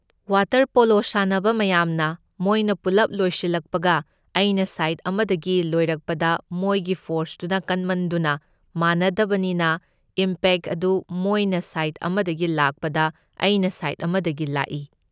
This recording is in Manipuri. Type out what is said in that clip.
ꯋꯥꯇꯔ ꯄꯣꯂꯣ ꯁꯥꯟꯅꯕ ꯃꯌꯥꯝꯅ ꯃꯣꯏꯅ ꯄꯨꯜꯂꯞ ꯂꯣꯏꯁꯜꯂꯛꯄꯒ ꯑꯩꯅ ꯁꯥꯏꯗ ꯑꯃꯗꯒꯤ ꯂꯣꯏꯔꯛꯄꯗ ꯃꯣꯏꯒꯤ ꯐꯣꯔꯁꯇꯨꯅ ꯀꯟꯃꯟꯗꯨꯅ ꯃꯥꯟꯅꯗꯕꯅꯤꯅ ꯏꯝꯄꯦꯛ ꯑꯗꯨ ꯃꯣꯏꯅ ꯁꯥꯏꯗ ꯑꯃꯗꯒꯤ ꯂꯥꯛꯄꯗ ꯑꯩꯅ ꯁꯥꯏꯗ ꯑꯃꯗꯒꯤ ꯂꯥꯛꯢ꯫